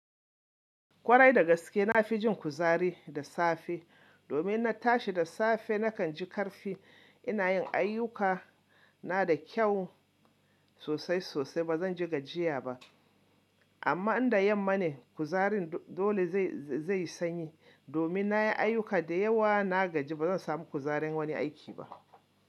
Kwarai da gaske na fi jin kuzari da safe. Domin na tashi da safe nakan ji ƙarfi ina yin ayyuka. Na da kyau sosai sosai ba zan ji gajiya ba. Amma in da yamma ne kuzarin dole zai sanyi domin na yi ayuka da yawa na gaji ba zan samu kuzarin wani aiki ba.